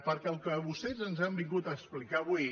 perquè el que vostès ens han vingut a explicar avui